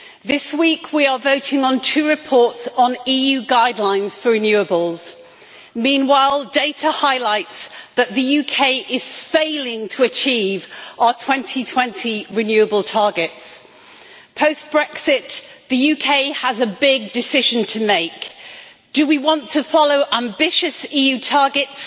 This week we are voting on two reports on EU guidelines for renewables. Meanwhile, data highlights the fact that the UK is failing to achieve our 2020 renewable targets. Post Brexit, the UK has a big decision to make do we want to follow ambitious EU targets